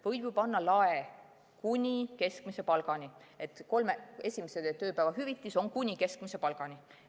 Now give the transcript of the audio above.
Võib ju panna lae kuni keskmise palgani, et kolme esimese tööpäeva hüvitis on kuni keskmise palgani.